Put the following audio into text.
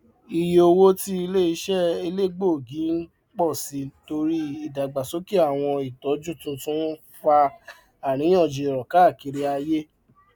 ìyé owó tí iléiṣẹ elegbogi ń pọ sí torí ìdàgbàsókè àwọn ìtọjú tuntun ń fà aríyànjiyàn káàkiri ayé